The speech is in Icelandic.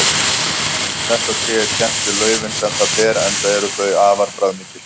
Þetta tré er kennt við laufin sem það ber enda eru þau afar bragðmikil.